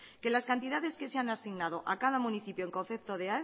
que las cantidades que se han asignado a cada municipio en concepto de